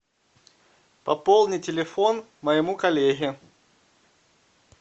пополни телефон моему коллеге